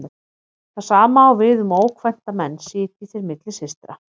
Það sama á við um ókvænta menn sitji þeir milli systra.